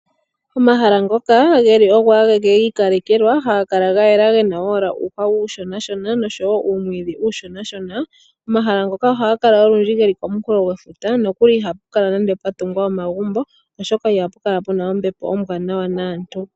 Omahala ngoka geli ogo ageke giikalekelwa ohaga kala gayela gena owala uuhwa uunshonashona noshowo uumwiidhi uushonashona ,omahala ngono ohaga kala olundji komukulo gwefuta, nokuli ihapu kala pwatungwa omagumbo oshoka ihapu kala ombepo ombwaanawa naantu.